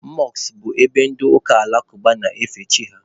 Mọskụ bụ ebe ndị ụka alakụba na-efe chi ha